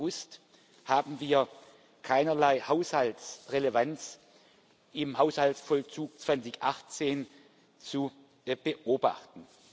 2. August haben wir keinerlei Haushaltsrelevanz im Haushaltsvollzug 2018 zu beobachten.